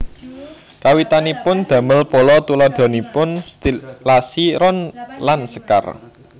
Kawitanipun damel pola tuladhanipun stilasi ron lan sekar